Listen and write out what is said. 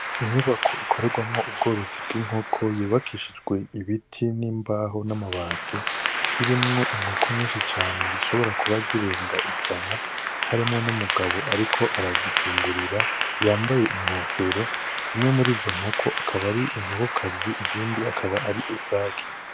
Inyubako ikorerwamwo ubworozi bw'inkoko yubakishijwe ibiti n'imbaho n'amabati irimwo inkoko nyinshi cane zishobora kuba zirenga ijana harimwo n'umugabo ariko arazifungurira yambaye inkofero zimwe muri zo nkoko akaba ari inkokokazi izindi akaba ari isaki.